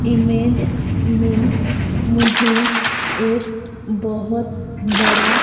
image में मुझे एक बहोत बड़ा--